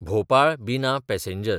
भोपाळ–बिना passenger